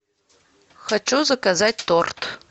хочу заказать торт